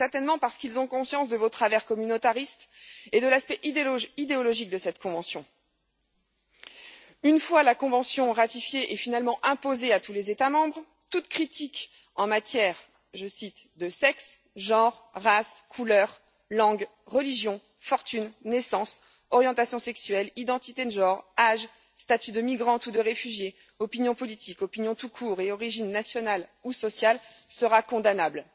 Certainement parce qu'ils ont conscience de vos travers communautaristes et de l'aspect idéologique de cette convention. Une fois la convention ratifiée et finalement imposée à tous les États membres, toute critique en matière je cite de sexe, genre, race, couleur, langue, religion, fortune, naissance, orientation sexuelle, identité de genre, âge, statut de migrante ou de réfugiée, opinion politique, opinion tout court et origine nationale ou sociale sera condamnable.